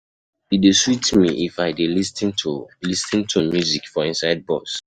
E dey sweet me if I dey lis ten to lis ten to music for inside bus.